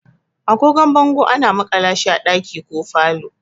Agogon bango ana makala shi a ɗaki ko falo.